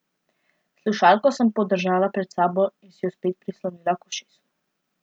Slušalko sem podržala pred sabo in si jo spet prislonila k ušesu.